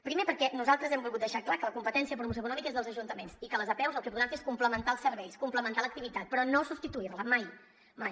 primer perquè nosaltres hem volgut deixar clar que la competència de promoció econòmica és dels ajuntaments i que les apeus el que podran fer és complementar els serveis complementar l’activitat però no substituir la mai mai